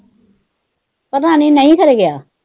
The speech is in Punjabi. ਪਤਾ ਨੀ, ਨਾਈ ਘਰੇ ਗਿਆ।